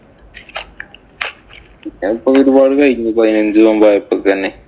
പിന്നെ ഇപ്പൊ ആയപ്പോഴത്തേന്.